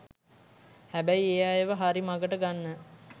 හැබැයි ඒ අයව හරි මඟට ගන්න